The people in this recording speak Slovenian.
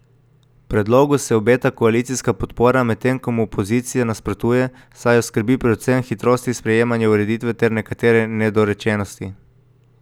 Predlogu se obeta koalicijska podpora, medtem ko mu opozicija nasprotuje, saj jo skrbi predvsem hitrost sprejemanja ureditve ter nekatere nedorečenosti.